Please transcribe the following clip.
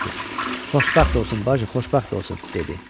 Nəsir, xoşbəxt olsun bacı, xoşbəxt olsun dedi.